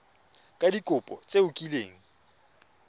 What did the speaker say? ka dikopo tse o kileng